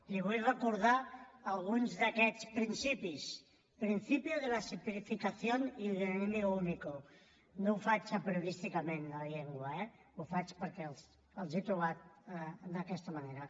li vull recordar alguns d’aquest principis principio de la simplificación y del enemigo único no ho faig apriorísticament això de la llengua eh ho faig perquè els he trobat d’aquesta manera